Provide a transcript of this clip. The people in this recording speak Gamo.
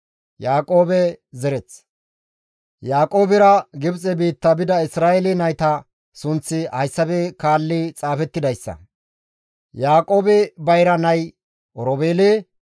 Yaaqoobera Gibxe biitta bida Isra7eele nayta sunththi hayssafe kaalli xaafettidayssa. Yaaqoobe bayra nay Oroobeele;